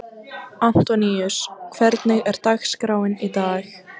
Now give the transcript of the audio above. Antoníus, hvernig er dagskráin í dag?